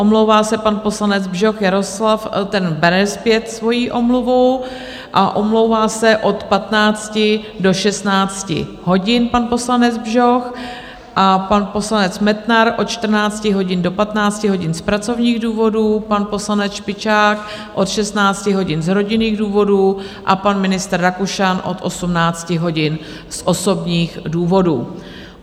Omlouvá se pan poslanec Bžoch Jaroslav, ten bere zpět svoji omluvu a omlouvá se od 15 do 16 hodin pan poslanec Bžoch a pan poslanec Metnar od 14 hodin do 15 hodin z pracovních důvodů, pan poslanec Špičák od 16 hodin z rodinných důvodů a pan ministr Rakušan od 18 hodin z osobních důvodů.